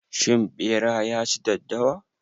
Shin ɓera ya ci daddawa?